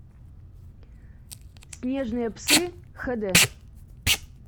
снежные псы хд